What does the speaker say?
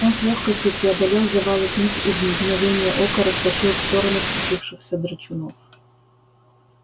он с лёгкостью преодолел завалы книг и в мгновение ока растащил в стороны сцепившихся драчунов